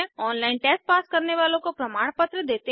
online test pass करने वालों को प्रमाण पत्र देते है